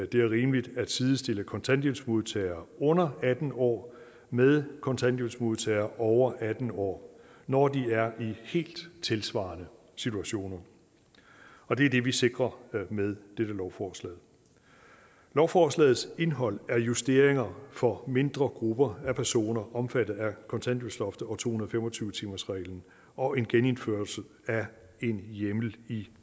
det er rimeligt at sidestille kontanthjælpsmodtagere under atten år med kontanthjælpsmodtagere over atten år når de er i helt tilsvarende situationer og det er det vi sikrer med dette lovforslag lovforslagets indhold er justeringer for mindre grupper af personer omfattet af kontanthjælpsloftet og to hundrede og fem og tyve timersreglen og en genindførelse af en hjemmel i